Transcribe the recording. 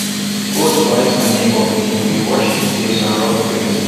goat bite my neighbour pikin we wash the place and rub cream